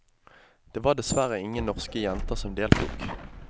Det var dessverre ingen norske jenter som deltok.